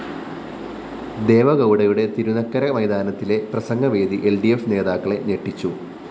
ദേവഗൗഡയുടെ തിരുനക്കര മൈതാനിയിലെ പ്രസംഗവേദി ൽ ഡി ഫ്‌ നേതാക്കളെ ഞെട്ടിച്ചു